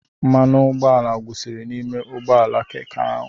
Mmanụ ụgbọala gwụsịrị n'ime ụgbọ ala Keke ahụ.